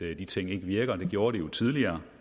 at de ting ikke virker det gjorde de tidligere